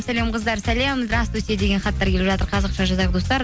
сәлем қыздар сәлем деген хаттар келіп жатыр қазақша жазайық достар